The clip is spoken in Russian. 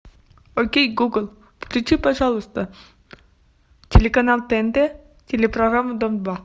окей гугл включи пожалуйста телеканал тнт телепрограмму дом два